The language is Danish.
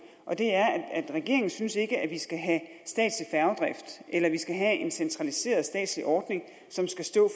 regeringen synes ikke at vi skal have statslig færgedrift eller at vi skal have en centraliseret statslig ordning som skal stå